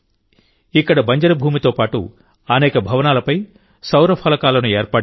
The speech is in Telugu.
ఇక్కడ బంజరు భూమితో పాటు అనేక భవనాలపై సౌర ఫలకాలను ఏర్పాటు చేశారు